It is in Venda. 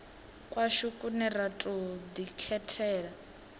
kwashu kune ra tou ḓikhethela